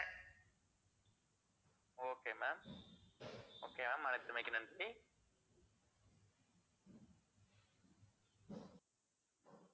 okay ma'am okay ma'am அழைத்தமைக்கு நன்றி.